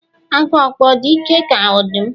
Agu okpo ọ̀ dị ike ka ọdụm?